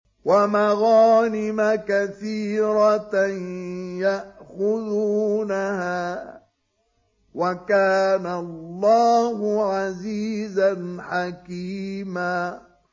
وَمَغَانِمَ كَثِيرَةً يَأْخُذُونَهَا ۗ وَكَانَ اللَّهُ عَزِيزًا حَكِيمًا